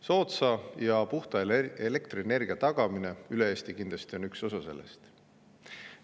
Soodsa ja puhta elektrienergia tagamine üle Eesti on kindlasti üks osa sellest.